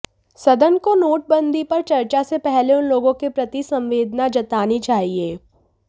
सदन को नोटबंदी पर चर्चा से पहले उन लोगों के प्रति संवेदना जतानी चाहिए